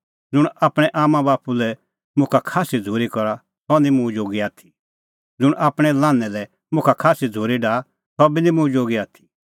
ज़ुंण आपणैं आम्मांबाप्पू लै मुखा खास्सी झ़ूरी करा सह निं मुंह जोगी आथी ज़ुंण आपणैं लान्हैं लै मुखा खास्सी झ़ूरी डाहा सह बी निं मुंह जोगी आथी